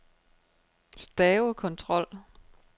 stavekontrol